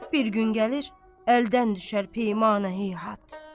Bir gün gəlir, əldən düşər peymane heyhat.